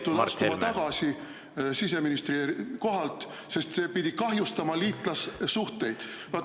… ja siis ma olin sunnitud tagasi astuma siseministri kohalt, sest see pidi kahjustama liitlassuhteid.